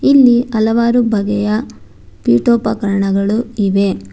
ಇಲ್ಲಿ ಹಲವಾರು ಬಗೆಯ ಪೀಠೋಪಕರಣಗಳು ಇವೆ.